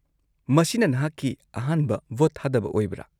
-ꯃꯁꯤꯅ ꯅꯍꯥꯛꯀꯤ ꯑꯍꯥꯟꯕ ꯚꯣꯠ ꯊꯥꯗꯕ ꯑꯣꯏꯕ꯭ꯔꯥ?